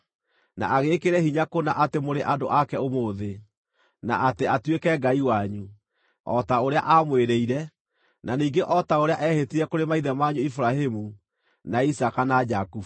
na agĩĩkĩre hinya kũna atĩ mũrĩ andũ ake ũmũthĩ, na atĩ atuĩke Ngai wanyu, o ta ũrĩa aamwĩrĩire, na ningĩ o ta ũrĩa eehĩtire kũrĩ maithe manyu Iburahĩmu, na Isaaka, na Jakubu.